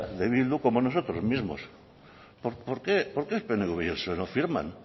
de bildu como nosotros mismo por qué el pnv y el psoe no firman